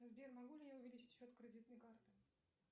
сбер могу ли я увеличить счет кредитной карты